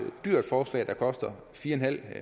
dyrt forslag der koster fire